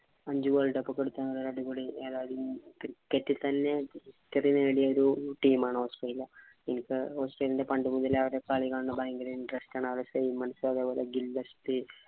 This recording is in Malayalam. അഞ്ചു പഠിക്കണ അടിപൊളി നേടിയ ഒരു team ആണ് australia. ഇനിപ്പോ australia പണ്ടുമുതലെ അവരടെ കളി കാണണം ഭയങ്കര interest ആണ്.